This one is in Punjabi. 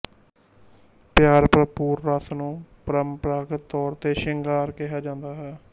ਪਿਆਰ ਭਰਪੂਰ ਰਸ ਨੂੰ ਪਰੰਪਰਾਗਤ ਤੌਰ ਤੇ ਸ਼ਿੰਗਾਰ ਕਿਹਾ ਜਾਂਦਾ ਹੈ